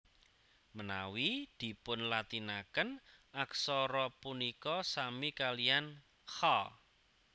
Menawi dipunlatinaken aksara punika sami kaliyan kha